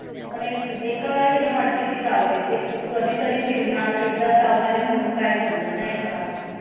आणि यांनी आम्हाला आधी विचारलेलं कि तुम्हाला veg खाता कि non veg खाता सगड त त्या हिशोबाने china पेक्षा थोडी सोय बारी झाली तिथे पण तरी त्यांचं veg म्हणजे ते risoto खा आणि soup प्या आणि bread खा तेवढंच